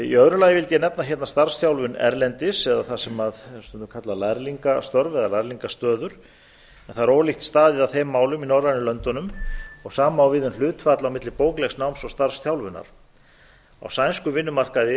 í öðru lagi vildi ég nefna starfsþjálfun erlendis eða það við getum kallað lærlingastörf eða lærlingastöður en það er ólíkt staðið að þeim málum í norrænu löndunum sama á við um hlutfall milli bóklegs náms og starfsþjálfunar á sænskum vinnumarkaði